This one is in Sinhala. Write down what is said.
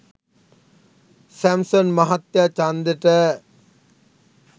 සැම්සන් මහත්තය චන්දෙට